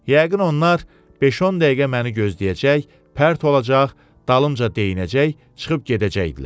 Yəqin onlar beş-10 dəqiqə məni gözləyəcək, pərt olacaq, dalımca deyinəcək, çıxıb gedəcəkdilər.